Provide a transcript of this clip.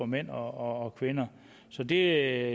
mænd og kvinder så det er